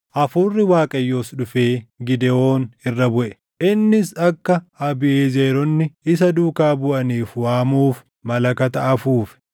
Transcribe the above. Hafuurri Waaqayyoos dhufee Gidewoon irra buʼe; innis akka Abiiʼezeroonni isa duukaa buʼaniif waamuuf malakata afuufe.